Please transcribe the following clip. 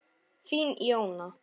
Þín Jóna.